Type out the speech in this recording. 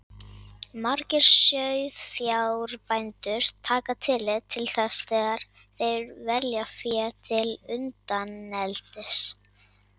Margir sauðfjárbændur taka tillit til þess þegar þeir velja fé til undaneldis.